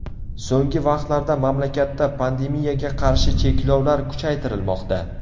So‘nggi vaqtlarda mamlakatda pandemiyaga qarshi cheklovlar kuchaytirilmoqda.